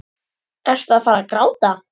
Ertu að fara að gráta?